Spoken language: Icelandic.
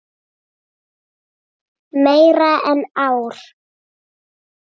Meira en ár.